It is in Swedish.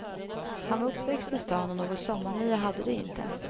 Han var uppväxt i stan och något sommarnöje hade de inte.